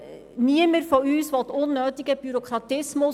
Niemand von uns will unnötigen Bürokratismus.